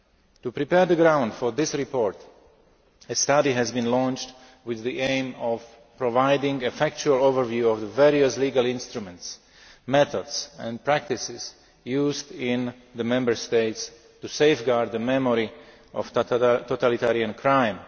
To prepare the ground for this report, a study has been launched with the aim of providing a factual overview of the various legal instruments, methods and practices used in the Member States to safeguard the memory of totalitarian crime.